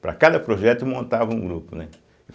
Para cada projeto montava um grupo, né?